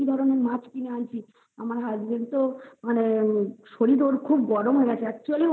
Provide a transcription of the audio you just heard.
ধরণের মাছ আমার Husband তো ওর শরীর খুব গরম হয় গেছে actually